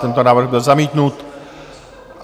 Tento návrh byl zamítnut.